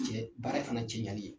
Cɛ baara fana cɛyali ye.